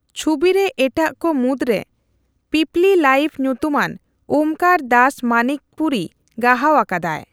ᱪᱷᱩᱵᱤ ᱨᱮ ᱮᱴᱟᱜ ᱠᱚ ᱢᱩᱫᱽᱨᱮ ᱯᱤᱯᱞᱤ ᱞᱟᱭᱤᱵᱷ ᱧᱩᱛᱩᱢᱟᱱ ᱳᱢᱠᱟᱨ ᱫᱟᱥ ᱢᱟᱱᱤᱠᱯᱩᱨᱤ ᱜᱟᱦᱟᱣ ᱟᱠᱟᱫᱟᱭ ᱾